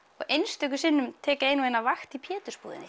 einstöku sinnum tek ég eina og ein vakt í